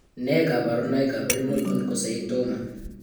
Nee kabarunoikab Renal Oncocytoma?